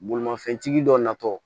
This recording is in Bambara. Bolimafɛntigi dɔ natɔ